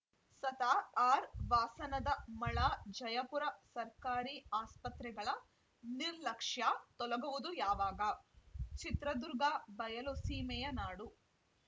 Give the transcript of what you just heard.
ಸತಾ ಆರ್‌ ವಾಸನದ ಮಳಾ ಜಯಪುರ ಸರ್ಕಾರಿ ಆಸ್ಪತ್ರೆಗಳ ನಿರ್ಲಕ್ಷ್ಯ ತೊಲಗುವುದು ಯಾವಾಗ ಚಿತ್ರದುರ್ಗ ಬಯಲು ಸೀಮೆಯ ನಾಡು